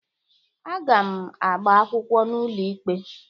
Aga m agbaakwụkwọ n'ụlọ ikpe